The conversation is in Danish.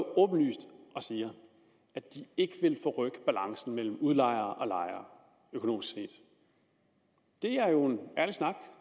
åbenlyst og siger at de ikke vil forrykke balancen mellem udlejere og lejere økonomisk set det er jo ærlig snak